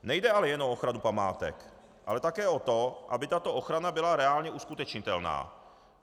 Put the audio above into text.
Nejde ale jenom o ochranu památek, ale také o to, aby tato ochrana byla reálně uskutečnitelná.